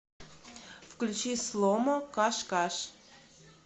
включить сломо каш каш